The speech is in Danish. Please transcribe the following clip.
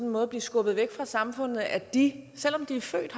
måde at blive skubbet væk fra samfundet på at de selv om de er født